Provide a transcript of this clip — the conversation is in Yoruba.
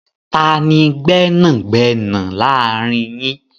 Tani gbẹ́nàgbẹnà láàrin yín?